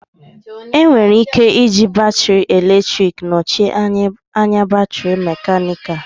Enwere ike iji batrị eletrik nọchie anya batrị mekanịka